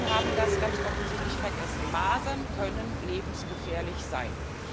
Die Menschen haben das ganz offensichtlich vergessen Masern können lebensgefährlich sein.